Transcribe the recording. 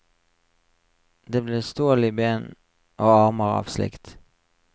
Det ble stål i ben og armer av slikt.